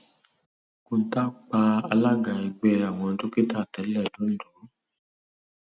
kọńtà pa alága ẹgbẹ àwọn dókítà tẹlẹ londo